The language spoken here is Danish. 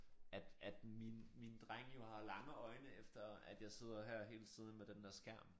At at min min dreng jo har lange øjne efter at jeg sidder her hele tiden med den der skærm